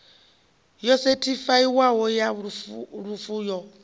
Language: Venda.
yo sethifaiwaho ya lufu yo